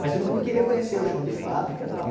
Mas todo mundo queria conhecer o chão de fábrica e tal.